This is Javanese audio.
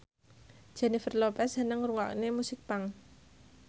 Jennifer Lopez seneng ngrungokne musik punk